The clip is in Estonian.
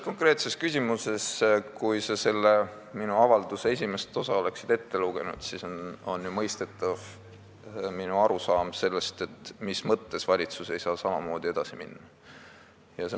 Konkreetsest küsimusest nii palju, et kui sa oleksid selle minu avalduse esimese osa ette lugenud, siis olnuks mõistetav minu arusaam sellest, mis mõttes ei saa valitsus samamoodi edasi minna.